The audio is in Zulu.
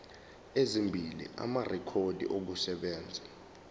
ezimbili amarekhodi okusebenza